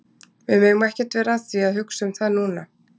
Við megum ekkert vera að því að hugsa um það núna.